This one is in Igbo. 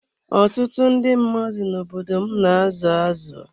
Ọtụtụ ndị mmadụ n'obodo m na azụ azụ.